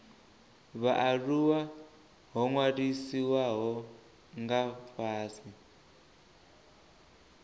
vhaaluwa ho ṅwalisiwaho nga fhasi